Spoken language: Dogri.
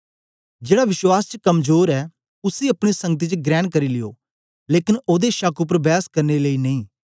जेड़ा विश्वास च कमजोर ऐ उसी अपनी संगति च ग्रेण करी लियो लेकन ओदे शक उपर बैस करने लेई नेई